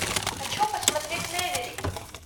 хочу посмотреть меверик